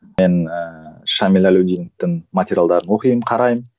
мен ііі шәміл әлеудиновтің материалдарын оқимын қараймын